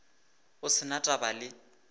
go se na taba le